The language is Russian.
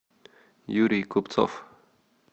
юрий купцов